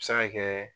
A bɛ se ka kɛ